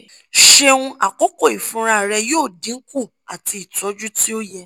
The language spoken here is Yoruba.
ṣeun akọkọ ifunra rẹ yoo dinku ati itọju ti o yẹ